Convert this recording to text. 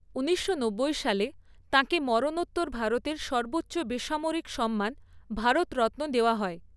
ঊনিশশো নব্বই সালে তাকে মরণোত্তর ভারতের সর্বোচ্চ বেসামরিক সম্মান, ভারতরত্ন দেওয়া হয়।